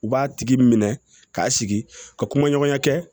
U b'a tigi minɛ k'a sigi ka kumaɲɔgɔnya kɛ